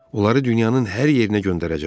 Onları dünyanın hər yerinə göndərəcəm.